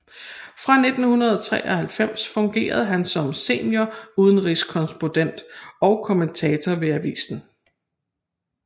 Fra 1993 fungerede han som seniorudenrigskorrespondent og kommentator ved avisen